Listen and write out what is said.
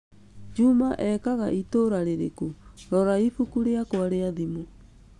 Juma ekaga itũũra rĩrĩkũ? Rora ibuku rĩakwa rĩa thimũ